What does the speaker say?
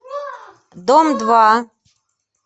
дом два